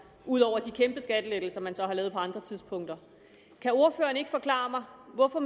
ud over de kæmpe skattelettelser man så har lavet på andre tidspunkter kan ordføreren ikke forklare mig hvorfor